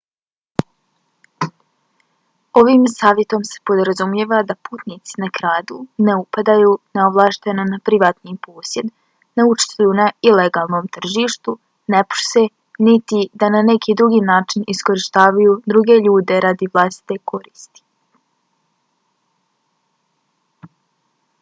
ovim savjetom se podrazumijeva da putnici ne kradu ne upadaju neovlašteno na privatni posjed ne učestvuju na ilegalnom tržištu ne prose niti da na neki drugi način iskorištavaju druge ljude radi vlastite koristi